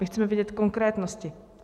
My chceme vědět konkrétnosti.